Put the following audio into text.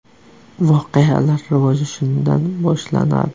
Voqealar rivoji shundan boshlanadi.